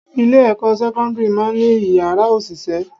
Ilé-ẹ̀kọ́ sekondiri máa ń ní Ìyàrá òṣìṣẹ́.